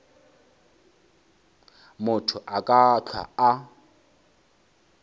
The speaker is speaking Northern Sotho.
motho a ka hlwa a